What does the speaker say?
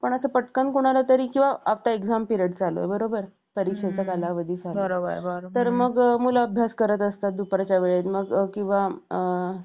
असं पटकन कोणालातरी जेव्हा आता exam period चालू आहे बरोबर मुलं अभ्यास करत असतात दुपारच्या वेळेत तर मग किंवा